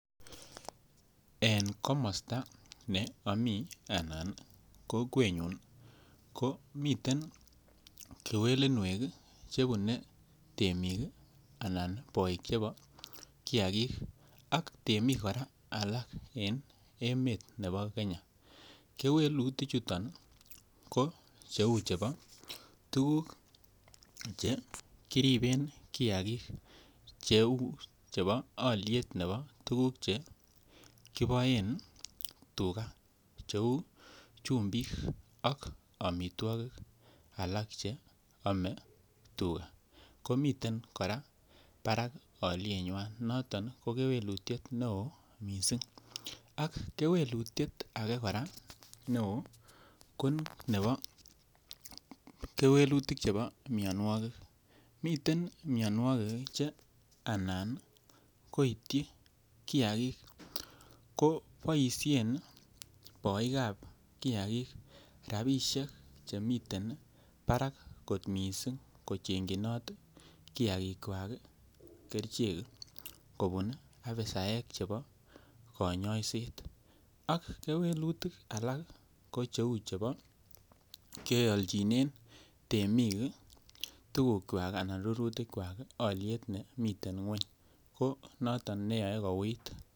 En komosta ne ami anan kokwenyun ko miten kewelinwek Che bune temik anan boik chebo chebo kiagik ak temik kora alak en emet nebo Kenya kewelinwek kou cheu chebo tuguk Che kiriben kiagik neu nebo alyet nebo tuguk Che kiboen tuga cheu chumbik ak amitwogik alak Che Amee tuga komiten kora barak alyenywa noton ko kewelutiet neo mising ak kewelutiet ake kora neo ko chebo mianwogik miten mianwogik anan koityi kiagik koboisien boik ab kiagik rabisiek chemiten barak kot mising kochengchinoton kiagik kerichek kobun afisaek chebo konyoiset ak kewelutik alak kou chebo kealchine temik rurutik kwak alyet nemi ngwony ko noton neyoe kouit baetab kiagik